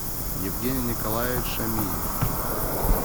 евгений николаевич шамиев